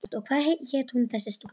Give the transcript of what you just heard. Og hvað hét hún þessi stúlka?